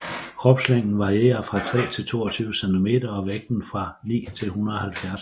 Kropslængden varierer fra 3 til 22 cm og vægten fra 9 til 170 g